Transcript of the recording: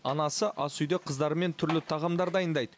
анасы ас үйде қыздарымен түрлі тағамдар дайындайды